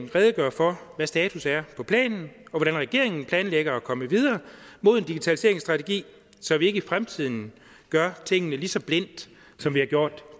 redegøre for hvad status er på planen og hvordan regeringen planlægger at komme videre mod en digitaliseringsstrategi så vi ikke i fremtiden gør tingene lige så blindt som vi har gjort